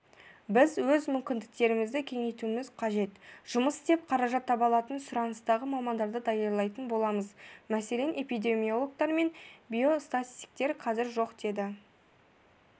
біз өз мүмкіндіктерімізді кеңейтуіміз қажет жұмыс істеп қаражат таба алатын сұраныстағы мамандарды даярлайтын боламыз мәселен эпидемиологтар мен биостатистиктер қазір жоқ деді